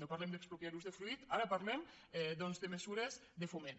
no parlem d’expropiar usdefruit ara parlem doncs de mesures de foment